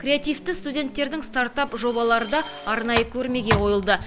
креативті студенттердің стартап жобалары да арнайы көрмеге қойылды